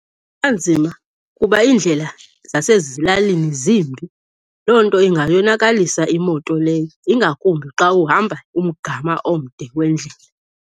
Kuba nzima kuba iindlela zasezilalini zimbi. Loo nto ingayonakalisa imoto leyo, ingakumbi xa uhamba umgama omde wendlela.